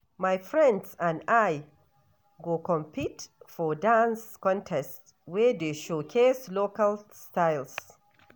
My friends and I go compete for dance contest wey dey showcase local styles.